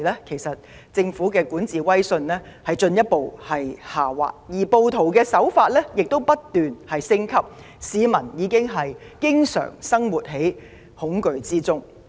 當時，政府的管治威信已進一步下滑，暴徒的行動則不斷升級，令市民每天活在恐懼中。